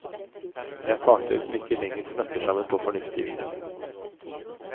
Det er parter som ikke lenger snakker sammen på fornuftig vis.